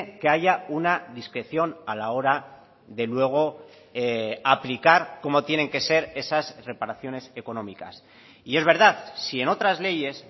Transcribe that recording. que haya una discreción a la hora de luego aplicar cómo tienen que ser esas reparaciones económicas y es verdad si en otras leyes